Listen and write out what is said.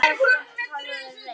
Alt annað hafði verið reynt.